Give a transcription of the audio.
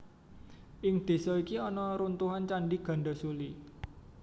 Ing désa iki ana runtuhan Candhi Gandasuli